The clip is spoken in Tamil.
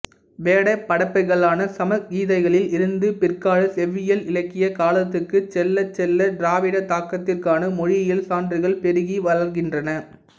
வேதபடைப்புகளான சம்ஹிதைகளில் இருந்து பிற்கால செவ்வியல் இலக்கியக் காலத்துக்கு செல்லச் செல்ல திராவிட தாக்கத்திற்கான மொழியியல் சான்றுகள் பெருகி வளர்கின்றன